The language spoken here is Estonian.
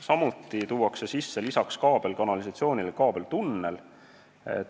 Samuti tuuakse lisaks kaablikanalisatsioonile sisse kaablitunnel.